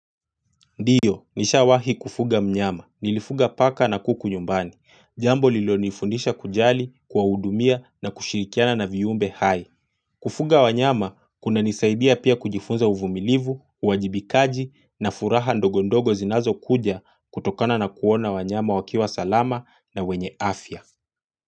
Ndiyo, nishawahi kufuga mnyama. Nilifuga paka na kuku nyumbani. Jambo lilonifundisha kujali kuwahudumia na kushirikiana na viumbe hayo. Kufuga wanyama, kunanisaidia pia kujifunza uvumilivu, uwajibikaji na furaha ndogo ndogo zinazokuja kutokana na kuona wanyama wakiwa salama na wenye afya.